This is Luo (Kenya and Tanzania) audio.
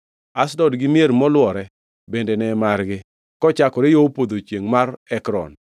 Ashdod gi mier molwore bende ne margi kochakore yo podho chiengʼ mar Ekron.